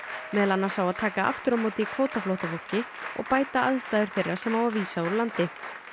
meðal annars á að taka aftur á móti kvótaflóttafólki og bæta aðstæður þeirra sem á að vísa úr landi